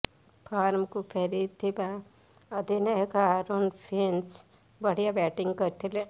ଫର୍ମକୁ ଫେରିଥିବା ଅଧିନାୟକ ଆରୋନ୍ ଫିଞ୍ଚ୍ ବଢ଼ିଆ ବ୍ୟାଟଂ କରିଥିଲେ